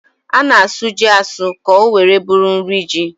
A na-asụ ji asụ ka o nwere bụrụ niri ji